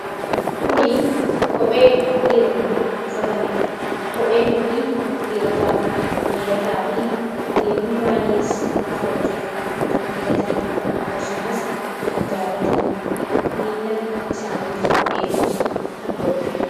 Kunii kophee dhiironni uffataniidha. kopheen kunii dhiirotaaf mijataa fi dhiironni baay'ees uffachuuf kan filatan akkasumas kan jaalatan miila isaaniif eegumsa kan godhudha.